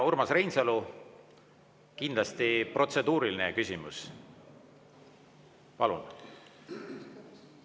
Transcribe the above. Urmas Reinsalu, kindlasti protseduuriline küsimus, palun!